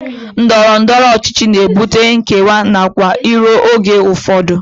Ndọrọndọrọ ọchịchị na-ebute nkewa nakwa iro oge ụfọdụ